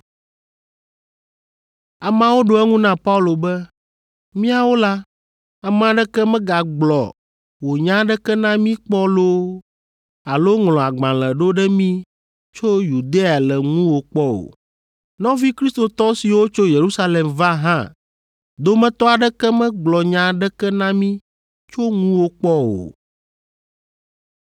Ameawo ɖo eŋu na Paulo be, “Míawo la, ame aɖeke megagblɔ wò nya aɖeke na mí kpɔ loo alo ŋlɔ agbalẽ ɖo ɖe mí tso Yudea le ŋuwò kpɔ o. Nɔvi Kristotɔ siwo tso Yerusalem va hã dometɔ aɖeke megblɔ nya aɖeke na mí tso ŋuwò kpɔ o.